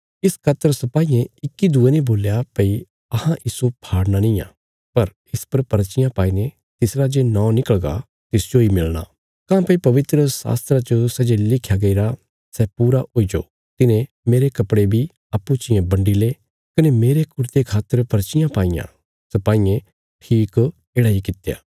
इस खातर सिपाईयें इक्की दूये ने बोल्या भई अहां इस्सो फाड़ना निआं पर इस पर पर्चियां पाईने तिसरा जे नौं निकलगा तिस जोई मिलणा काँह्भई पवित्रशास्त्रा च सै जे लिख्या गईरा सै पूरा हुईजो तिन्हें मेरे कपड़े बी अप्पूँ चियें बंडी ले कने मेरे कुरते खातर पर्चियां पाईयां सिपाईयें ठीक येढ़ा इ कित्या